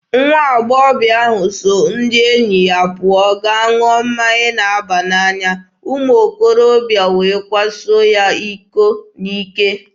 Nwa agbọghọ ahụ so ndị enyi ya pụọ gaa ṅụọ mmanya na-aba n'anya, umuokorobịa wee kwaso ya iko n'ike.